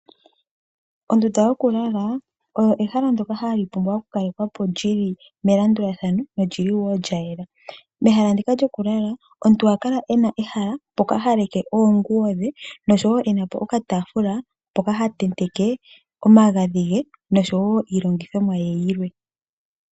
Ondunda yokulala oyo ehala ndyoka hali pumbwa oku kalekwapo lyili melandulathano nolyili woo lya yela. Mehala ndika lyo kulala omuntu oha kala ena ehala mpoka ha leke oonguwo dhe, noshowo enapo okataafula mpoka ha tenteke omagadhi ge, oshowo iilongithomwa ye yilwe.